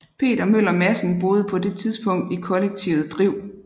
Peter Møller Madsen boede på det tidspunkt i kollektivet Driv